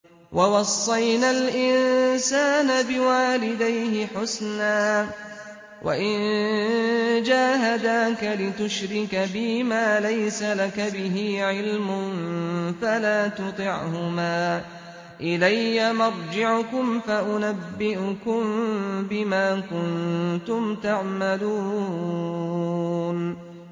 وَوَصَّيْنَا الْإِنسَانَ بِوَالِدَيْهِ حُسْنًا ۖ وَإِن جَاهَدَاكَ لِتُشْرِكَ بِي مَا لَيْسَ لَكَ بِهِ عِلْمٌ فَلَا تُطِعْهُمَا ۚ إِلَيَّ مَرْجِعُكُمْ فَأُنَبِّئُكُم بِمَا كُنتُمْ تَعْمَلُونَ